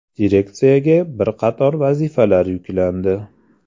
Direksiyaga bir qator vazifalar yuklandi.